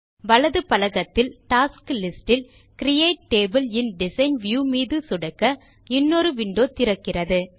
வலது பலகத்தில் tasks list இல் கிரியேட் டேபிள் இன் டிசைன் வியூ மீது சொடுக்க இன்னொரு விண்டோ திறக்கிறது